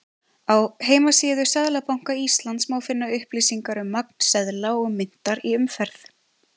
Á heimasíðu Seðlabanka Íslands má finna upplýsingar um magn seðla og myntar í umferð.